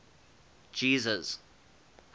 jesus